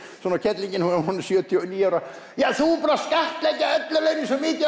svona kellingin hún er sjötíu og níu ára ja þú ert búin að skattleggja ellilaunin svo mikið